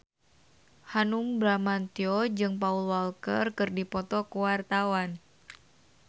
Hanung Bramantyo jeung Paul Walker keur dipoto ku wartawan